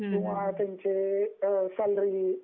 किंवा त्यांची सॅलरी